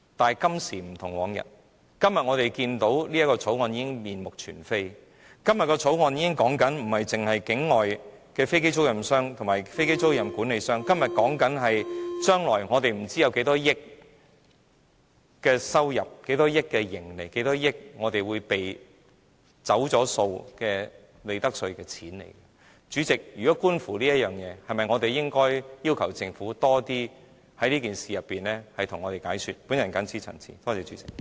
可是，今時不同往日，我們今天看到這項修正案已面目全非，修正案所說的已不單是境外飛機租賃商及飛機租賃管理商，而是涉及將來不知會有多少億元收入、盈利和利得稅會被"走數"，主席，觀乎這一點，我們是否應該要求政府在這件事情上向我們作更多解說呢？